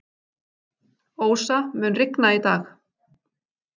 Ósa, mun rigna í dag?